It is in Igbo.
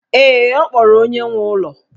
Ee, ọ kpọrọ onye nwe ụlọ.